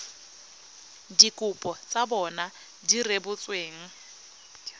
dikopo tsa bona di rebotsweng